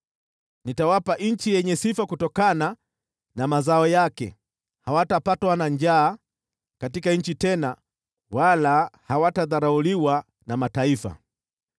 Nitawapa nchi yenye sifa kutokana na mazao yake, hawatapatwa na njaa katika nchi tena wala hawatadharauliwa na mataifa.